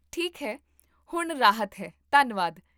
ਠੀਕ ਹੈ, ਹੁਣ ਰਾਹਤ ਹੈ, ਧੰਨਵਾਦ